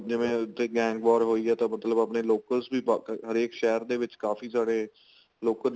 ਜਿਵੇਂ ਉੱਥੇ gang war ਹੋਈ ਤਾਂ ਮਤਲਬ ਆਪਣੇ locals ਵੀ ਹਰੇਕ ਸ਼ਹਿਰ ਦੇ ਵਿੱਚ ਕਾਫੀ ਜਿਹੜੇ local